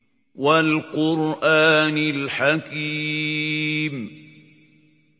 وَالْقُرْآنِ الْحَكِيمِ